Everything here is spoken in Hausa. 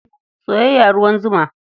Soyayya ruwan zuma.